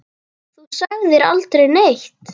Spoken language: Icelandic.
Þú sagðir aldrei neitt.